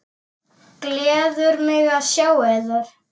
Gleður mig að sjá yður.